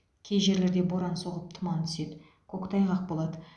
кей жерлерде боран соғып тұман түседі көктайғақ болады